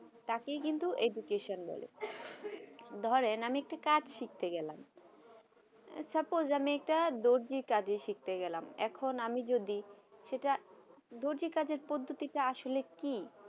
তাকে কিন্তু education বলে ধরেন আমি একটা কাজ শিখতে গেলাম suppose আমি একটা দরজি কাজ শিখতে গেলাম এখন আমি যদি সেটা দরজি কাজে পদ্ধতি আসলি কি